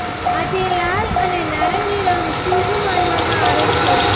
આજે લાલ અને નારંગી રંગ શુભ માનવામાં આવે છે